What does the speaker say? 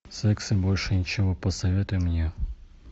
секс и больше ничего посоветуй мне